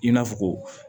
I n'a fɔ ko